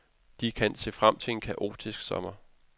De kan se frem til en kaotisk sommer.